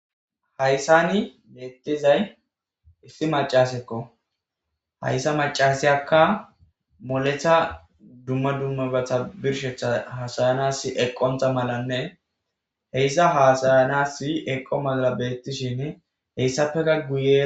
Hayssani beettizay issi macas eqo hayssa macasyakka moletha dumma dummabata birshetha hasayanasi eqqontha malanne heyssa hasayanasi eqqo mala beettishin heyssapeka guye.